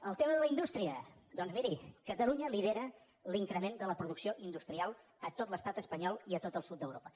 el tema de la indústria doncs miri catalunya lidera l’increment de la producció industrial a tot l’estat espanyol i a tot el sud d’europa